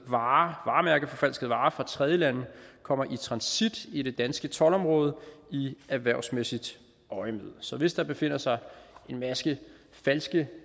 varemærkeforfalskede varer fra tredjelande kommer i transit i det danske toldområde i erhvervsmæssigt øjemed så hvis der befinder sig en masse falske